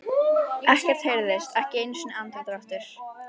Ekkert heyrðist, ekki einu sinni andardráttur.